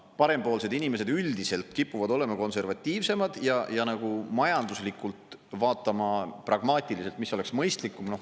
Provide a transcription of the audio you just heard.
Parempoolsed inimesed üldiselt kipuvad olema konservatiivsemad ja nagu majanduslikult vaatama pragmaatiliselt, mis oleks mõistlikum.